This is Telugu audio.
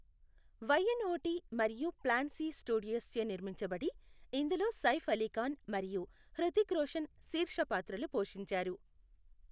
వైఎన్ఓటీ మరియు ప్లాన్ సి స్టూడియోస్ చే నిర్మించబడి, ఇందులో సైఫ్ అలీ ఖాన్ మరియు హృతిక్ రోషన్ శీర్ష పాత్రలు పోషించారు.